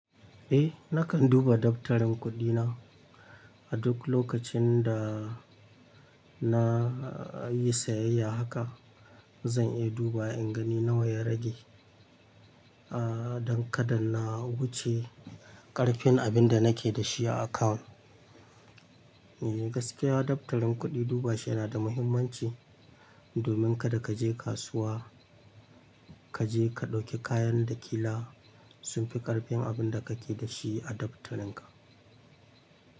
Eh nakan duba daftarin kuɗina. A duk lokacin da na yi sayayya haka zan iya duba in gani nawa ya rage, don kada na wuce ƙarfin abin da nake da shi a akawun. Eh gaskiya daftarin kuɗi duba shi yana da muhimmanci domin kada ka je kasuwa, ka je ka ɗauki kayan da ƙila sun fi ƙarfin abin da kake da shi a daftarin ka.